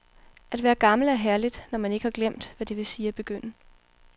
At være gammel er herligt, når man ikke har glemt, hvad det vil sige at begynde.